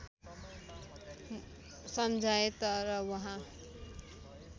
सम्झाएँ तर वहाँ